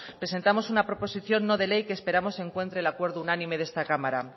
presentamos una proposición no de ley que esperamos encuentre el acuerdo unánime de esta cámara